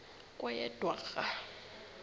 kweyedwarha